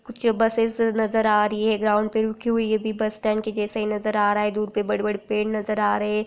कुछ बसेस नज़र आ रही है ग्राउंड पे रुकी हुई है बस स्टैंड के जैसे नज़र आ रहा है दूर में बड़े-बड़े पेड़ नज़र आ रहे है।